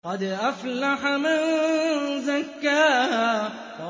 قَدْ أَفْلَحَ مَن زَكَّاهَا